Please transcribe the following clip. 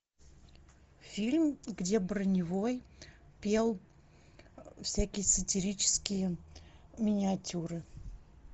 фильм где броневой пел всякие сатирические миниатюры